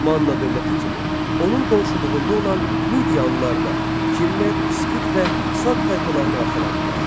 Manna dövləti kimi, onun qonşuluğunda olan Midiyalılar da Kimmer, İskit və Sak tayfalarını arxalandılar.